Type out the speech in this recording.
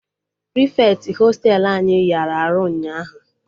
Prịfeti hostelu anyị yara arụ ụnyaahụ